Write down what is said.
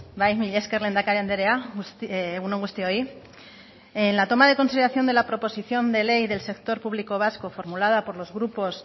bai mila esker lehendakari andrea egun on guztioi en la toma de consideración de la proposición de ley del sector público vasco formulada por los grupos